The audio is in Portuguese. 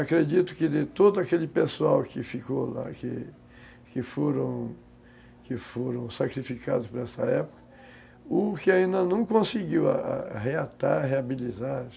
Acredito que de todo aquele pessoal que ficou lá, que foram que foram sacrificados por essa época, o que ainda não conseguiu é reatar, reabilitar...